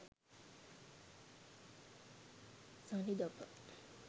sanidapa